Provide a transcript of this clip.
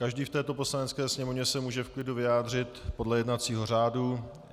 Každý v této Poslanecké sněmovně se může v klidu vyjádřit podle jednacího řádu.